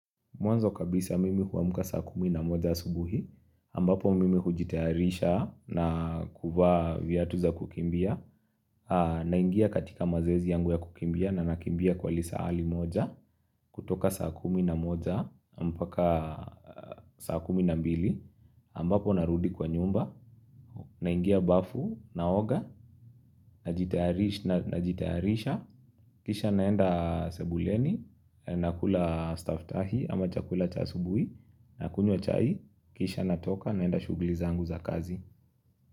Mwanzo kabisa mimi huamuka saa kumi na moja asubuhi, ambapo mimi hujitaharisha na kuvaa viatu za kukimbia, naingia katika mazoezi yangu ya kukimbia na nakimbia kwa lisaa ali moja, kutoka saa kumi na moja, mpaka saa kumi na mbili, ambapo narudi kwa nyumba, naingia bafu, naoga, najitaharisha, kisha naenda sebuleni, nakula stafftahi ama chakula cha asubuhi, nakunywa chai, kisha natoka naenda shuguli zangu za kazi.